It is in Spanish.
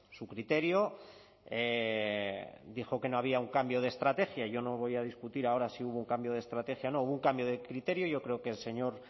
su criterio dijo que no había un cambio de estrategia yo no voy a discutir ahora si hubo un cambio de estrategia o no hubo un cambio de criterio yo creo que el señor